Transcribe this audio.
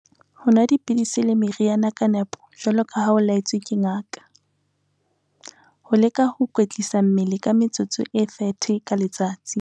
Ho nwa dipidisi le meriana ka nepo, jwaloka ha o la-etswe ke ngaka. Ho leka ho kwetlisa mmele ka metsotso e 30 ka letsatsi.